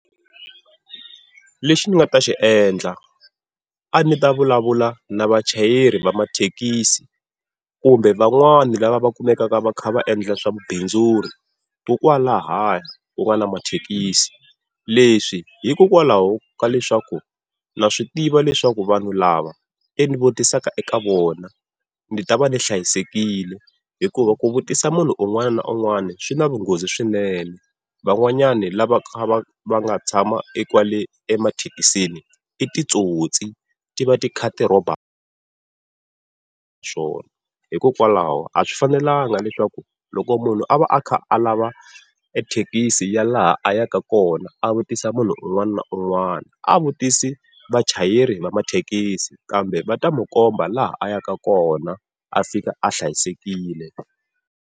Lexi ni nga ta xiendla a ni ta vulavula na vachayeri va mathekisi, kumbe van'wani lava va kumekaka va kha va endla swa vubindzuri kokwalahaya ku nga na mathekisi. Leswi hikokwalaho ka leswaku na swi tiva leswaku vanhu lava ene vutisaka eka vona ni ta va ni hlayisekile, hikuva ku vutisa munhu un'wana na un'wana swi na vunghozi swinene. Van'wanyani lava va va nga tshama ekwale emathekisini i titsotsi ti va ti kha ti rhoba swona hikokwalaho a swi fanelanga leswaku loko munhu a va a kha a lava ethekisi ya laha a yaka kona a vutisa munhu un'wana na un'wana, a vutisi vachayeri va mathekisi kambe va ta mo komba laha a yaka kona a fika a hlayisekile.